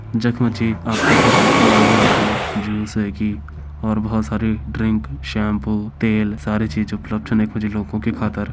जख मजी आप की खातर मैगी वैगी जूस ह्वेगी और बोहोत सारी ड्रिंक शैम्पू तेल सारी चीज उपलब्ध छन यख मजी लोगों की खातर।